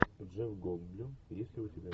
джефф голдблюм есть ли у тебя